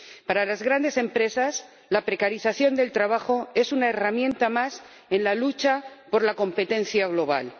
Para las grandes empresas, la precarización del trabajo es una herramienta más en la lucha por la competencia global.